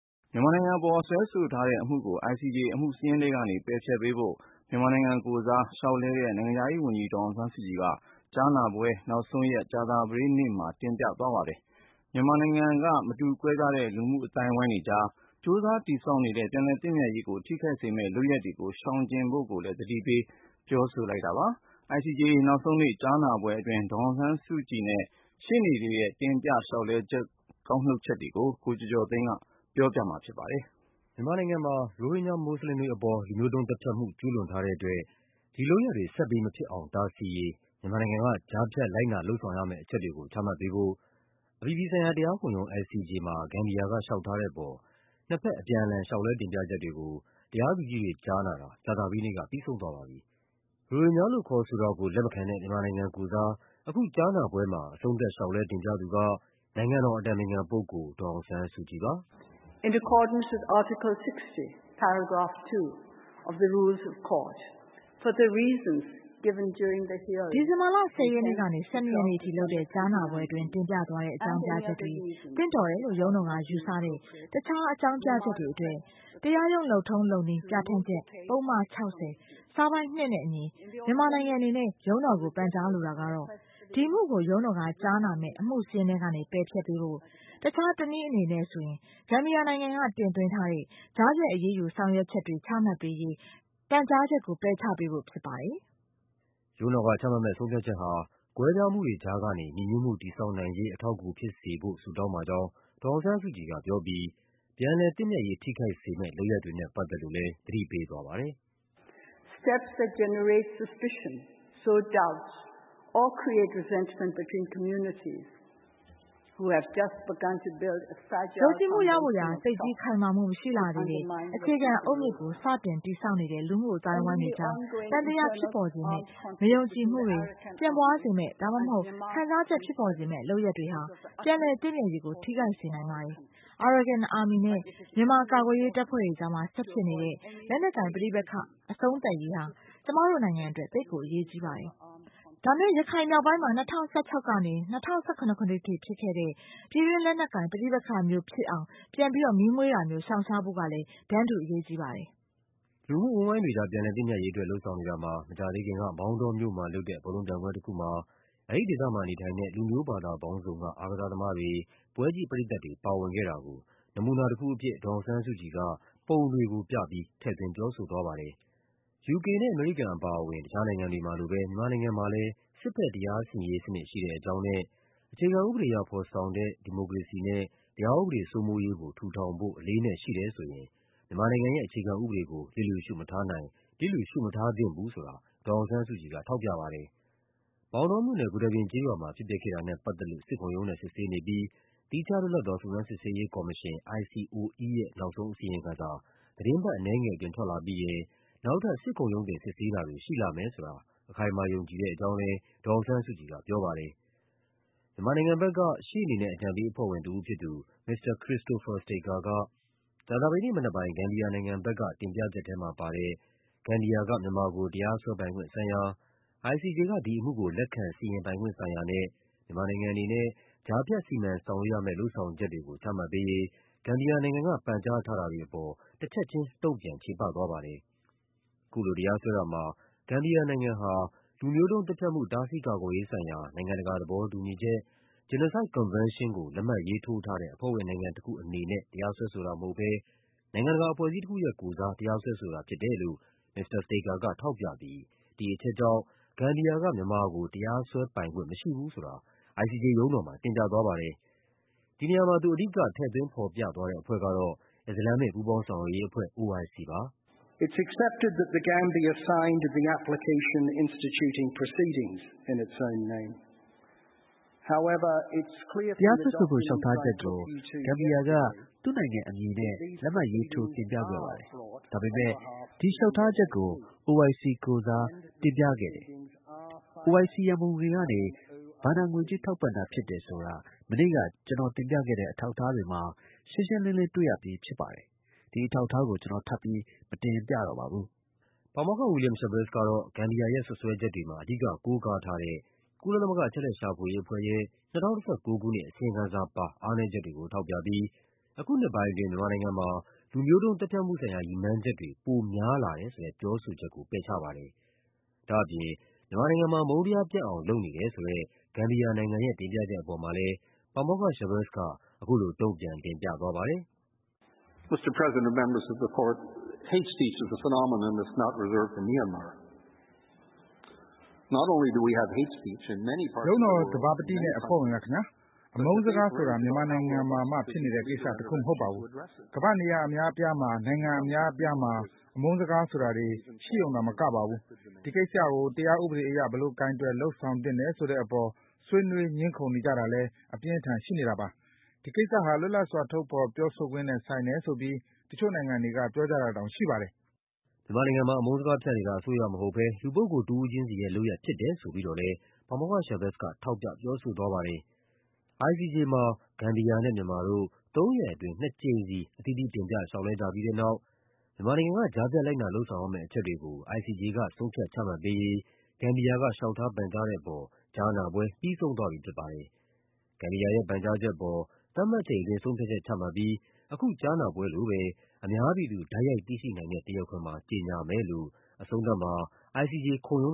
မြန်မာနိုင်ငံအပေါ် စွဲဆိုထားတဲ့အမှုကို ICJ အမှုစာရင်းထဲကနေ ပယ်ဖျက်ပေးဖို့ မြန်မာနိုင်ငံကိုယ်စား လျှောက်လဲ တဲ့ နိုင်ငံခြားရေးဝန်ကြီး ဒေါ်အောင်ဆန်းစုကြည်က ကြားနာပွဲနောက်ဆုံးရက် ကြာသပတေးနေ့မှာ တင်ပြသွားပါတယ်။ မြန်မာ နိုင်ငံက မတူကွဲပြားတဲ့ လူမှုအဝန်းအဝိုင်းတွေကြား ကြိုးစားတည်ဆောက်နေတဲ့ ပြန်လည်သင့်မြတ်ရေးကို ထိခိုက်စေမယ့်လုပ်ရပ် တွေကို ရှောင်ဖို့လည်း သတိပေးပြောဆိုပါတယ်။ ICJ နောက်ဆုံးနေ့ ကြားနာပွဲအတွင်း ဒေါ်အောင်ဆန်းစုကြည်နဲ့ ရှေ့နေတွေရဲ့ တင်ပြချက်တွေထဲက ကောက်နုတ်ပြီး ကိုကျော်ကျော်သိန်းက ပြောပြပါမယ်။ မြန်မာနိုင်ငံမှာ ရိုဟင်ဂျာ မွတ်ဆလင်တွေအပေါ် လူမျိုးတုံးသတ်ဖြတ်မှု ကျူးလွန်ထားတဲ့အတွက် ဒီလုပ်ရပ်တွေ ဆက်ပြီးမဖြစ်အောင် တားဆီးရေး မြန်မာနိုင်ငံက ကြားဖြတ် လိုက်နာလုပ်ဆောင်ရမယ့် အချက်တွေကို ချမှတ်ပေးဖို့ အပြည်ပြည်ဆိုင်ရာ တရား ခုံရုံး ICJ မှာ ဂမ်ဘီယာက လျှောက်ထားတဲ့အပေါ် နှစ်ဘက် အပြန်အလှန် လျှောက်လဲတင်ပြချက်တွေကို တရားသူကြီးတွေ ကြားနာတာ ကြာသပတေးနေ့က ပြီးဆုံးသွားပါပြီ။ ရိုဟင်ဂျာလို့ခေါ်ဆိုတာကို လက်မခံတဲ့ မြန်မာနိုင်ငံကိုယ်စား အခုကြားနာပွဲမှာ အဆုံးသတ် လျှောက်လဲတင်ပြသူက နိုင်ငံတော်အတိုင်ပင်ခံပုဂ္ဂိုလ် ဒေါ်အောင်ဆန်းစုကြည်ပါ။ “ဒီဇင်ဘာလ ၁၀ ရက်နေ့ကနေ ၁၂ ရက်နေ့အထိလုပ်တဲ့ ကြားနာပွဲအတွင်း တင်ပြသွားတဲ့ အကြောင်းပြချက်တွေ၊ သင့်တော်တယ်လို့ ရုံးတော်ကယူဆတဲ့ တခြားအကြောင်းပြချက်တွေအတွက် တရားရုံး လုပ်ထုံးလုပ်နည်းပြဌာန်းချက် ပုဒ်မ ၆၀၊ စာပိုဒ် ၂ နဲ့အညီ မြန်မာနိုင်ငံအနေနဲ့ ရုံးတော်ကို ပန်ကြားလိုတာကတော့ ဒီအမှုကို ရုံးတော်ကကြားနာမယ့် အမှုစာရင်းထဲကနေ ပယ်ဖျက်ပေးဖို့၊ တခြားတနည်းအနေနဲ့ဆိုရင် ဂမ်ဘီယာနိုင်ငံက တင်သွင်းထားတဲ့ ကြားဖြတ်အရေးယူ ဆောင်ရွက်ချက်တွေ ချမှတ်ပေးရေး ပန်ကြားချက်ကို ပယ်ချပေးဖို့ဖြစ်ပါတယ်။” ရုံးတော်ကချမှတ်မယ့် ဆုံးဖြတ်ချက်ဟာ ကွဲပြားမှုတွေကြားကနေ ညီညွတ်မှုတည်ဆောက်နိုင်ရေး အထောက်အကူဖြစ်စေဖို့ ဆုတောင်းပါကြောင်း ဒေါ်အောင်ဆန်းစုကြည်ကပြောပြီး ပြန်လည်သင့်မြတ်ရေး ထိခိုက်စေမယ့် လုပ်ရပ်တွေနဲ့ပတ်သက်လို့ သတိပေးသွားပါတယ်။ “ယုံကြည်မှုရဖို့ရာ သိပ်ကြီးခိုင်မာမှုမရှိလှသေးတဲ့ အခြေခံအုတ်မြစ်ကို စတင်တည်ဆောက်နေတဲ့ လူမှုအဝန်းအဝိုင်း တွေကြား သံသယ ဖြစ်ပေါ်စေမယ့်၊ မယုံကြည်မှုတွေ ပြန့်ပွားစေမယ့် ဒါမှမဟုတ် ခံစားချက်ဖြစ်ပေါ်စေမယ့် လုပ်ရပ်တွေဟာ ပြန်လည်သင့်မြတ်ရေးကို ထိခိုက်စေနိုင်ပါတယ်။ Arakan Army နဲ့ မြန်မာကာကွယ်ရေးတပ်ဖွဲ့တွေကြား ဆက်ဖြစ်နေတဲ့ လက်နက်ကိုင်ပဋိပက္ခ အဆုံးသတ်ရေးဟာ ကျမတို့နိုင်ငံအတွက် သိပ်ကိုအရေးကြီးပါတယ်။ ဒါပေမယ့် ရခိုင်မြောက်ပိုင်းမှာ ၂၀၁၆ ကနေ ၂၀၁၇ ခုနှစ်အထိဖြစ်ခဲ့တဲ့ ပြည်တွင်း လက်နက်ကိုင်ပဋိပက္ခမျိုးဖြစ်အောင် ပြန်ပြီး မီးမွှေးတာမျိုးကို ရှောင်ရှားဖို့ကလည်း တန်းတူအရေးကြီးပါတယ်။” လူမှုအဝန်းအဝိုင်းတွေကြား ပြန်လည်သင့်မြတ်ရေးအတွက် လုပ်ဆောင်နေတာမှာ မကြာသေးခင်က မောင်တောမြို့မှာလုပ်တဲ့ ဘောလုံးပြိုင်ပွဲတခုမှာ အဲဒီဒေသမှာနေထိုင်တဲ့ လူမျိုးဘာသာပေါင်းစုံက အားကစားသမားတွေ၊ ပွဲကြည့်ပရိသတ်တွေ ပါဝင်ခဲ့တာ ကို နမူနာတခုအဖြစ် ပုံပြပြီး ဒေါ်အောင်ဆန်းစုကြည်က ထည့်သွင်းပြောဆိုသွားပါတယ်။ ယူကေနဲ့ အမေရိကန်အပါအဝင် တခြားနိုင်ငံတွေမှာလိုပဲ မြန်မာနိုင်ငံမှာလည်း စစ်ဘက်တရားစီရင်ရေးစနစ် ရှိတဲ့အကြောင်းနဲ့ မြန်မာနိုင်ငံမှာ အခြေခံဥပဒေအရ ဖော်ဆောင်တဲ့ ဒီမိုကရေစီနဲ့ တရားဥဒေစိုးမိုးရေးကို ထူထောင်ဖို့ အလေးအနက်ရှိတယ်ဆိုရင် မြန်မာနိုင်ငံရဲ့ အခြေခံဥပဒေကို လျစ်လျူရှုမထားနိုင် လျစ်လျူရှုမထားသင့်ဘူးဆိုတာ ဒေါ်အောင်ဆန်းစုကြည်က ထောက်ပြ ပါတယ်။ မောင်တောမြို့နယ်၊ ဂူတာပြင်ကျေးရွာမှာ ဖြစ်ပျက်ခဲ့တာနဲ့ပတ်သက်လို့ စစ်ခုံရုံးနဲ့စစ်ဆေးနေပြီး သီးခြားလွတ်လပ်သော စုံစမ်း စစ်ဆေးရေးကော်မရှင် ရဲ့ နောက်ဆုံးအစီရင်ခံစာ သီတင်းပတ်အနည်းငယ်အတွင်း ထွက်လာပြီးရင် နောက်ထပ် စစ်ခုံရုံး တင်စစ်ဆေးတာတွေ ရှိလာမယ်ဆိုတာ အခိုင်အမာ ယုံကြည်တဲ့အကြောင်းလည်း ဒေါ်အောင်ဆန်းစုကြည်က ပြောပါတယ်။ မြန်မာနိုင်ငံဘက်က ရှေ့နေနဲ့အကြံပေးအဖွဲ့ဝင်တဦးဖြစ်သူ မစ္စတာ Christopher Staker က ကြာသပတေးနေ့မနက်ပိုင်း ဂမ်ဘီ ယာနိုင်ငံဘက်က တင်ပြချက်ထဲမှာပါတဲ့ ဂမ်ဘီယာက မြန်မာကို တရားစွဲပိုင်ခွင့်ဆိုင်ရာ၊ ICJ က ဒီအမှုကို လက်ခံစီရင်ပိုင်ခွင့် ဆိုင်ရာနဲ့ မြန်မာနိုင်ငံအနေနဲ့ ကြားဖြတ် စီမံဆောင်ရွက်ရမယ့် လုပ်ဆောင်ချက်တွေကို ချမှတ်ပေးရေး ဂမ်ဘီယာနိုင်ငံက ပန်ကြား ထားတာတွေအပေါ် တချက်ခြင်း တုံ့ပြန် ချေပသွားပါတယ်။ အခုလိုတရားစွဲတာမှာ ဂမ်ဘီယာနိုင်ငံဟာ လူမျိုးတုံးသတ်ဖြတ်မှု တားဆီးကာကွယ်ရေးဆိုင်ရာ နိုင်ငံတကာ သဘောတူညီချက် Genocide Convention ကို လက်မှတ်ရေးထိုးထားတဲ့ အဖွဲ့ဝင်နိုင်ငံတခုအနေနဲ့ တရားစွဲဆိုတာမဟုတ်ဘဲ နိုင်ငံတကာ အဖွဲ့ အစည်းတခုရဲ့ကိုယ်စား တရားစွဲဆိုတာဖြစ်တယ်လို့ မစ္စတာ Staker က ထောက်ပြပြီး ဒီအချက်ကြောင့် ဂမ်ဘီယာက မြန်မာကို တရားစွဲပိုင်ခွင့်မရှိဘူးဆိုတာ ICJ ရုံးတော်မှာ တင်ပြသွာပါတယ်။ ဒီနေရာမှာ သူ အဓိက ထည့်သွင်းဖော်ပြသွားတဲ့အဖွဲ့ကတော့ အစ္စလာမ်မစ် ပူးပေါင်းဆောင်ရွက်ရေးအဖွဲ့ ဖြစ်ပါတယ်။ “တရားစွဲဆိုဖို့ လျှောက်ထားချက်ကို ဂမ်ဘီယာက သူ့နိုင်ငံအမည်နဲ့ လက်မှတ်ရေးထိုး တင်ပြခဲ့ပါတယ်။ ဒါပေမယ့် ဒီလျှောက်ထားချက်ကို OIC ကိုယ်စားတင်ပြခဲ့တယ်၊ OIC ရန်ပုံငွေကနေ ဘဏ္ဍာငွေကြေး ထောက်ပံ့တာဖြစ်တယ်ဆိုတာ မနေ့က ကျနော်တင်ပြခဲ့တဲ့ အထောက်အထားတွေမှာ ရှင်းရှင်းလင်းလင်း တွေ့ရပြီးဖြစ်ပါတယ်။ ဒီအထောက်အထားကို ကျနော် ထပ်ပြီး မတင်ပြတော့ပါဘူး။” ပါမောက္ခ William Schabas ကတော့ ဂမ်ဘီယာရဲ့ စွပ်စွဲချက်တွေမှာ အဓိကကိုးကားထားတဲ့ ကုလသမဂ္ဂ အချက်အလက်ရှာဖွေရေးအဖွဲ့ရဲ့ ၂၀၁၉ ခုနှစ် အစီရင်ခံစာပါ အားနည်းချက်တွေကို ထောက်ပြပြီး အခုနှစ်ပိုင်းအတွင်း မြန်မာနိုင်ငံမှာ လူမျိုးတုံး သတ်ဖြတ်မှုဆိုင်ရာ ရည်မှန်းချက်တွေ ပိုများလာတယ်ဆိုတဲ့ ပြောဆိုချက်ကို ပယ်ချပါတယ်။ ဒါ့အပြင် မြန်မာနိုင်ငံမှာ အမုန်းတရားပြန့်အောင် လုပ်နေတယ်ဆိုတဲ့ ဂမ်ဘီယာနိုင်ငံရဲ့ တင်ပြချက်အပေါ်မှာလည်း ပါမောက္ခ Schabas က အခုလို တုံ့ပြန်တင်ပြသွားပါတယ်။ “ရုံးတော် သဘာပတိနဲ့ အဖွဲ့ဝင်များခင်ဗျား၊ အမုန်းစကားဆိုတာ မြန်မာနိုင်ငံမှာမှ ဖြစ်နေတဲ့ကိစ္စတခု မဟုတ်ပါဘူး။ ကမ္ဘာ့နေရာ အများအပြားမှာ နိုင်ငံအများအပြားမှာ အမုန်းစကားပြောဆိုတာတွေ ရှိရုံသာမကပါဘူး၊ ဒီကိစ္စကို တရားဥပဒေအရ ဘယ်လို ကိုင်တွယ်လုပ်ဆောင်သင့်တယ် ဆိုတဲ့အပေါ် ဆွေးနွေး ငြင်းခုန်တာတွေလည်း အပြင်းအထန် ရှိနေတာပါ။ ဒီကိစ္စဟာ လွတ်လပ်စွာ ထုတ်ဖော်ပြောခွင့် နဲ့ ဆိုင်တယ်ဆိုပြီး တချို့နိုင်ငံတွေက ပြောကြတာတောင်ရှိပါတယ်။” မြန်မာနိုင်ငံမှာ အမုန်းစကားဖြန့်နေတာ အစိုးရမဟုတ်ဘဲ လူပုဂ္ဂိုလ်တဦးချင်းစီရဲ့လုပ်ရပ် ဖြစ်တယ်ဆိုပြီးတော့လည်း ပါမောက္ခ Schabas က ထောက်ပြ ပြောဆိုသွားပါတယ်။ ICJ မှာ ဂမ်ဘီယာနဲ့ မြန်မာတို့ သုံးရက်အတွင်း နှစ်ကြိမ်စီ အသီးသီး တင်ပြလျှောက်လဲကြပြီးတဲ့နောက် မြန်မာနိုင်ငံက ကြားဖြတ် လိုက်နာလုပ်ဆောင်ရမယ့် အချက်တွေကို ICJ က ဆုံးဖြတ် ချမှတ်ပေးရေး ဂမ်ဘီယာက လျှောက်ထားပန်ကြားတဲ့အပေါ် ကြားနာ ပွဲ ပြီးဆုံးသွားပြီဖြစ်ပါတယ်။ ဂမ်ဘီယာရဲ့ ပန်ကြားချက်အပေါ် သတ်မှတ်ချိန်အတွင်း ဆုံးဖြတ်ချက်ချမှတ်ပြီး အခုကြားနာပွဲလိုပဲ အများပြည်သူ တိုက်ရိုက်သိရှိနိုင်တဲ့ တရားခွင်မှာ ကြေညာမယ်လို့ အဆုံးသတ်မှာ ICJ ခုံရုံး